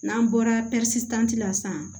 N'an bɔra la san